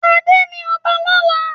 Ade ní ọba lọla.